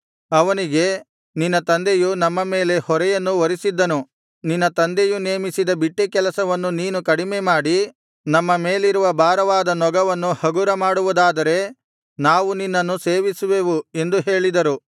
ಅವನಿಗೆ ನಿನ್ನ ತಂದೆಯು ನಮ್ಮ ಮೇಲೆ ಹೊರೆಯನ್ನು ಹೊರಿಸಿದ್ದನು ನಿನ್ನ ತಂದೆಯು ನೇಮಿಸಿದ ಬಿಟ್ಟಿ ಕೆಲಸವನ್ನು ನೀನು ಕಡಿಮೆ ಮಾಡಿ ನಮ್ಮ ಮೇಲಿರುವ ಭಾರವಾದ ನೊಗವನ್ನು ಹಗುರ ಮಾಡುವುದಾದರೆ ನಾವು ನಿನ್ನನ್ನು ಸೇವಿಸುವೆವು ಎಂದು ಹೇಳಿದರು